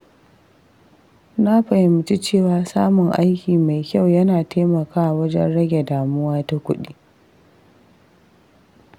Na fahimci cewa samun aiki mai kyau yana taimakawa wajen rage damuwa ta kuɗi.